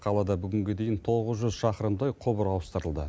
қалада бүгінге дейін тоғыз жүз шақырымдай құбыр ауыстырылды